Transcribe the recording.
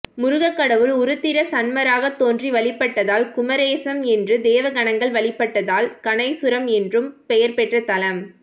முருகக்கடவுள் உருத்திரசன்மராகத் தோன்றி வழிபட்டதால் குமரேசம் என்றும் தேவகணங்கள் வழிபட்டதால் கணேசுரம் என்றும் பெயர் பெற்ற தலம்